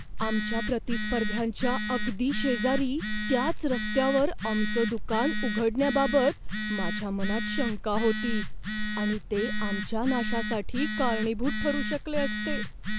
आमच्या प्रतिस्पर्ध्यांच्या अगदी शेजारी त्याच रस्त्यावर आमचं दुकान उघडण्याबाबत माझ्या मनात शंका होती आणि ते आमच्या नाशासाठी कारणीभूत ठरू शकले असते.